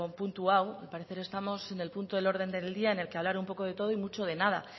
puntu hau al parecer estamos en el punto del orden del día en el que hablar un poco de todo y mucho de nada